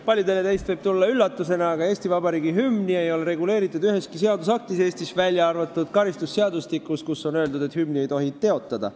Paljudele teist võib see tulla üllatusena, aga Eesti Vabariigi hümni ei ole Eestis reguleeritud üheski õigusaktis, välja arvatud karistusseadustikus, kus on öeldud, et hümni ei tohi teotada.